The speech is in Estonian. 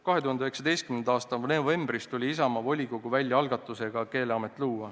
2019. aasta novembris tuli Isamaa volikogu välja algatusega luua Keeleamet.